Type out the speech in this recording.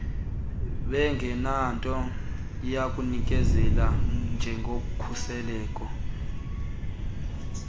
bengenanto yakuyinikezela njengokhuseleko